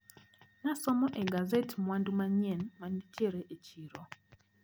Nasomo e gaset mwandu manyien manitiere e chiro.